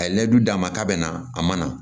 A ye ne d'a ma k'a bɛna a mana